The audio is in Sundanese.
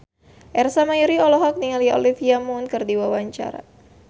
Ersa Mayori olohok ningali Olivia Munn keur diwawancara